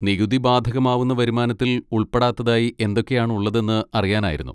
നികുതി ബാധകമാവുന്ന വരുമാനത്തിൽ ഉൾപ്പെടാത്തതായി എന്തൊക്കെ ആണ് ഉള്ളതെന്ന് അറിയാനായിരുന്നു.